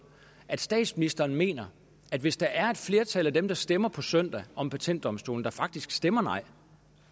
at statsministeren mener at hvis der er et flertal af dem der stemmer på søndag om patentdomstolen der faktisk stemmer nej